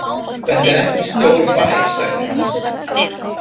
Þetta er ekki stór bær, sagði hann.